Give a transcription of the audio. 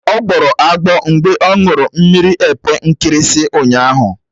Ọ gbọrọ agbọ mgbe ọ ṅụrụ mmiri epe nkirisi ụnyaahụ.